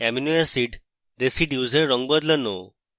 amino acid residues এর রঙ বদলানো